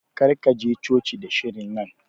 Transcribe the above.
Kar ka je coci da shirin nan.